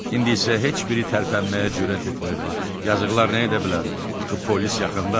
İndi isə heç biri tərpənməyə cürət etmirdi, yazıqlar nə edə bilər, axı polis yaxındadır.